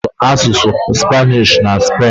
A na-asụ asụsụ Spanish na Spen